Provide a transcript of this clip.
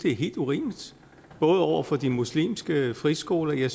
er helt urimeligt over for de muslimske friskoler